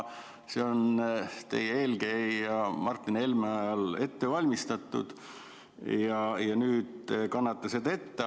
See on teie eelkäija Martin Helme ajal ette valmistatud ja nüüd te kannate seda ette.